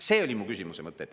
See oli mu küsimuse mõte.